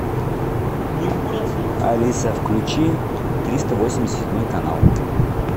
алиса включи триста восемьдесят седьмой канал